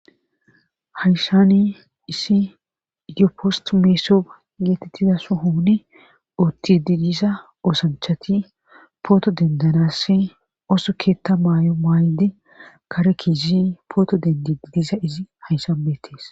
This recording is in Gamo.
Hayssani itiyopstti messob geettettida sohoni oothiddi diza oosanchati pooto denddannassi ooso keeta mayo mayidi kare keyizi pooto denddiiidi diza izi hayssan beettees.